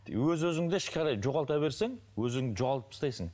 өз өзіңді ішке қарай жоғалта берсең өз өзіңді жоғалтып тастайтсың